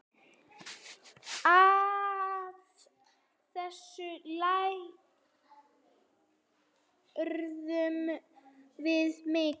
Af þessu lærðum við mikið.